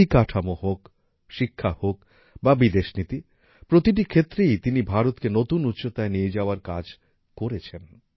পরিকাঠামো হোক শিক্ষা হোক বা বিদেশনীতি প্রতিটি ক্ষেত্রেই তিনি ভারতকে নতুন উচ্চতায় নিয়ে যাওয়ার কাজ করেছেন